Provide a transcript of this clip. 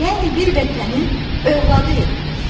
Yəni bir vətənin övladıyıq biz.